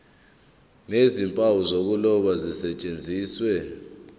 nezimpawu zokuloba zisetshenziswe